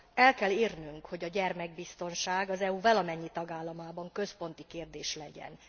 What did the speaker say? El kell érnünk, hogy a gyermekbiztonság az EU valamennyi tagállamában központi kérdés legyen.